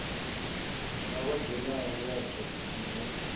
na tshenzhemo yatsho na u